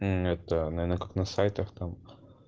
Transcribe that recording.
это наверное как на сайтах там